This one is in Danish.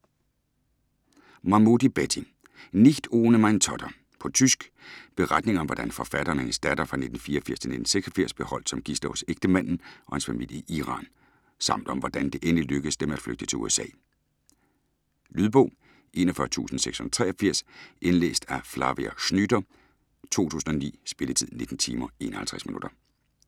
Mahmoody, Betty: Nicht ohne meine Tochter På tysk. Beretning om hvordan forfatteren og hendes datter 1984-1986 blev holdt som gidsler hos ægtemanden og hans familie i Iran, samt om hvordan det endeligt lykkedes dem at flygte til USA. Lydbog 41683 Indlæst af Flavia Schnyder, 2009. Spilletid: 19 timer, 51 minutter.